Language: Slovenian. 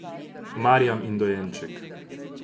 Marjam in dojenček.